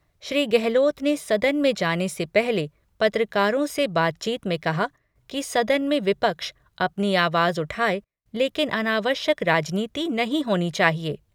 श्री गहलोत ने सदन में जाने से पहले पत्रकारों से बातचीत में कहा कि सदन में विपक्ष अपनी आवाज उठाये लेकिन अनावश्यक राजनीति नहीं होनी चाहिए।